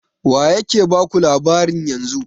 Waye ke baku labarin yanzu?